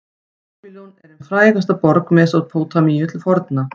babýlon er ein frægasta borg mesópótamíu til forna